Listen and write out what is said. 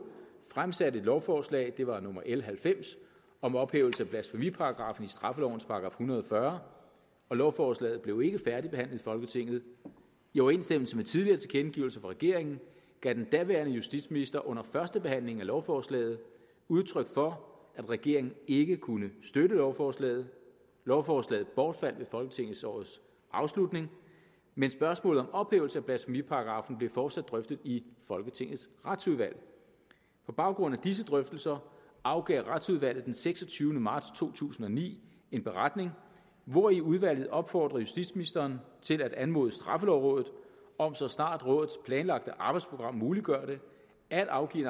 fremsatte et lovforslag det var nummer l halvfems om ophævelse af blasfemiparagraffen i straffelovens § en hundrede og fyrre lovforslaget blev ikke færdigbehandlet i folketinget i overensstemmelse med tidligere tilkendegivelser fra regeringen gav den daværende justitsminister under førstebehandlingen af lovforslaget udtryk for at regeringen ikke kunne støtte lovforslaget lovforslaget bortfaldt ved folketingsårets afslutning men spørgsmålet om ophævelse af blasfemiparagraffen blev fortsat drøftet i folketingets retsudvalg på baggrund af disse drøftelser afgav retsudvalget den seksogtyvende marts to tusind og ni en beretning hvori udvalget opfordrer justitsministeren til at anmode straffelovrådet om så snart rådets planlagte arbejdsprogram muliggør det at afgive